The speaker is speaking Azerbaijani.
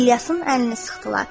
İlyasın əlini sıxdılar.